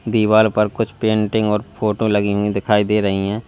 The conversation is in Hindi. दीवार पर कुछ पेंटिंग और फोटो लगी हुई दिखाई दे रही है।